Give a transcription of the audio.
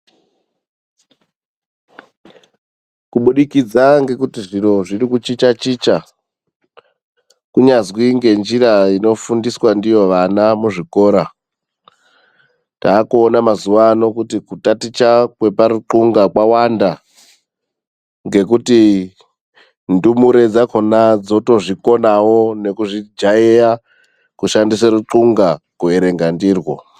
Kubudikidza ngekuti zviro zviri kuchicha chicha kunyazwi ngenjira inofundiswa ndiyo vana muzvikora takuona mazuva ano kuti kutaticha kweparukunhla kwakuwanda ngekuti ndumure dzakona dzotozvikonawo nekuzvijaira kushandisa rukunhla kuverenga ndirwo.